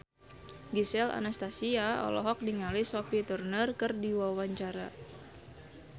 Gisel Anastasia olohok ningali Sophie Turner keur diwawancara